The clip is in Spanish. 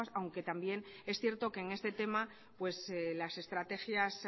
nuevas aunque también es cierto que en este tema las estrategias